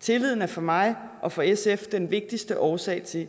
tilliden er for mig og for sf den vigtigste årsag til